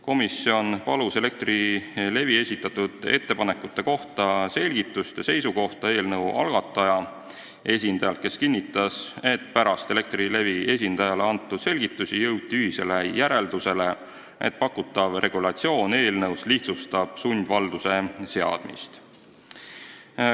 Komisjon palus Elektrilevi esitatud ettepanekute kohta selgitust ja seisukohta eelnõu algataja esindajalt, kes kinnitas, et pärast Elektrilevi esindajale antud selgitusi jõuti ühisele järeldusele, et eelnõus pakutav regulatsioon lihtsustab sundvalduse seadmist.